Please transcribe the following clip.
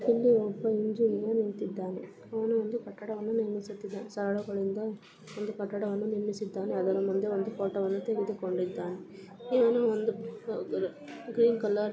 ಇಲ್ಲಿ ಒಬ್ಬ ಇಂಜಿನಿಯರ್ ನಿಂತ್ತಿದ್ದಾನೆ. ಅವನು ಒಂದು ಕಟ್ಟಡವನ್ನು ನಿರ್ಮಿಸುತ್ತಿದ್ದಾನೆ. ಸರಳುಗಳಿಂದ ಒಂದು ಕಟ್ಟಡವನ್ನು ನಿರ್ಮಿಸಿದ್ದಾನೆ. ಅದರ ಮುಂದೆ ಒಂದು ಫೋಟೋವನ್ನುತೆಗೆದುಕೊಂಡಿದ್ದಾನೆ. ಇವನು ಒಂದು ಗ್ರೀನ್ ಕಲರ್ --.